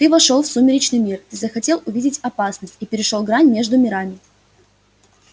ты вошёл в сумеречный мир ты захотел увидеть опасность и перешёл грань между мирами